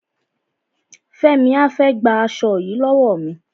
Fẹ́mi á fẹ́ gba aṣo yìí lọ́wọ́ mi.